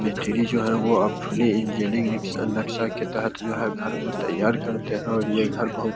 मिस्त्री जो है अब वो फूली इंजीनियरिंग इस नक्सा के तहत जो है यह घर को तैयार करते है और ये घर बोहत --